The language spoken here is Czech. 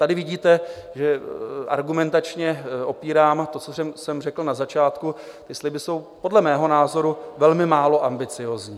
Tady vidíte, že argumentačně opírám to, co jsem řekl na začátku, že sliby jsou podle mého názoru velmi málo ambiciózní.